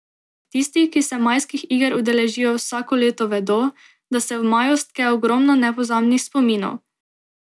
Tisti, ki se Majskih iger udeležijo vsako leto vedo, da se v maju stke ogromno nepozabnih spominov.